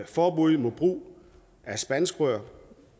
forbuddet mod brug af spanskrør